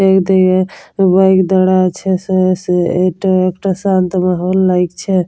এ দি-এ বাইক দাঁড়া আছে। সে সে এটা একটা শান্ত মহল লাগছে।